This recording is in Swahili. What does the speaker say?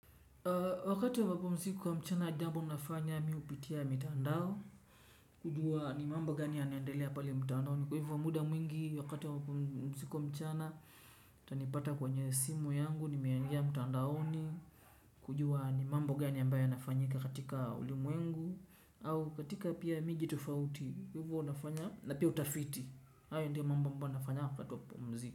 Wakati wa mapumziko ya mchana jambo nafanya ni kupitia mtandao. Kujua ni mambo gani yanaandelea pali mtandao ni kwa hivu wa muda mwingi wakati wa mapumsiko mchana utanipata kwenye simu yangu nimeangia mtandaoni. Kujua ni mambo gani yambao yanafanyika katika ulimu wengu au katika pia miji tufauti hivo wa nafanya na pia utafiti hayo ndio mbambo nafanya wakati wa kupumzika.